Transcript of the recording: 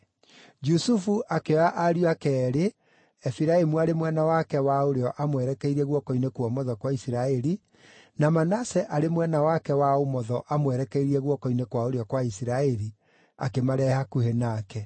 Jusufu akĩoya ariũ ake eerĩ, Efiraimu arĩ mwena wake wa ũrĩo aamwerekeirie guoko-inĩ kwa ũmotho gwa Isiraeli, na Manase arĩ mwena wake wa ũmotho aamwerekeirie guoko-inĩ kwa ũrĩo gwa Isiraeli, akĩmarehe hakuhĩ nake.